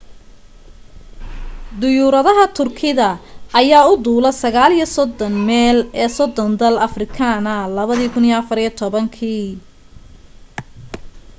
diyuuradaha turkida ayaa u duula 39 meel ee 30 dal afrikaana 2014